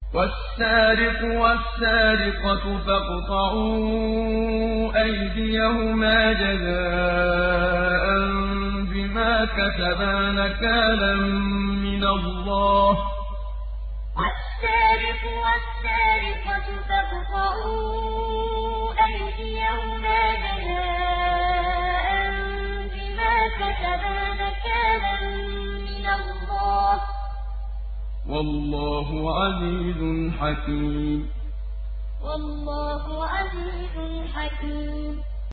وَالسَّارِقُ وَالسَّارِقَةُ فَاقْطَعُوا أَيْدِيَهُمَا جَزَاءً بِمَا كَسَبَا نَكَالًا مِّنَ اللَّهِ ۗ وَاللَّهُ عَزِيزٌ حَكِيمٌ وَالسَّارِقُ وَالسَّارِقَةُ فَاقْطَعُوا أَيْدِيَهُمَا جَزَاءً بِمَا كَسَبَا نَكَالًا مِّنَ اللَّهِ ۗ وَاللَّهُ عَزِيزٌ حَكِيمٌ